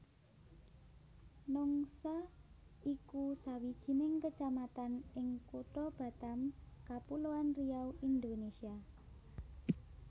Nongsa iku sawijining kecamatan ing Kutha Batam Kapuloan Riau Indonésia